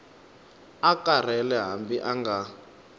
a karhele hambi a nga